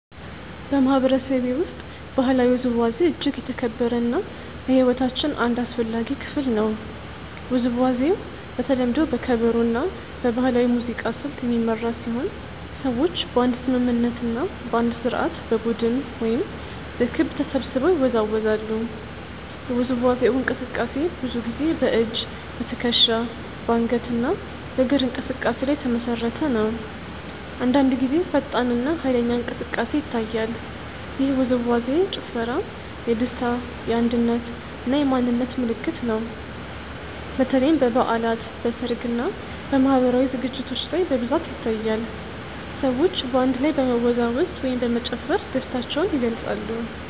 በማህበረሰቤ ውስጥ ባህላዊ ውዝዋዜ እጅግ የተከበረ እና የሕይወታችን አንድ አስፈላጊ ክፍል ነው። ውዝዋዜው በተለምዶ በከበሮ እና በባህላዊ ሙዚቃ ስልት የሚመራ ሲሆን ሰዎች በአንድ ስምምነት እና በአንድ ስርዓት በቡድን ወይም በክብ ተሰብስበው ይወዛወዛሉ። የውዝዋዜው እንቅስቃሴ ብዙ ጊዜ በእጅ፣ በትከሻ፣ በአንገት እና በእግር እንቅስቃሴ ላይ የተመሰረተ ነው። አንዳንድ ጊዜ ፈጣን እና ኃይለኛ እንቅስቃሴ ይታያል። ይህ ውዝዋዜ/ ጭፈራ የደስታ፣ የአንድነት እና የማንነት ምልክት ነው። በተለይም በበዓላት፣ በሰርግ እና በማህበራዊ ዝግጅቶች ላይ በብዛት ይታያል። ሰዎች በአንድ ላይ በመወዛወዝ ወይም በመጨፈር ደስታቸውን ይገልጻሉ።